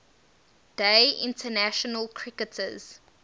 day international cricketers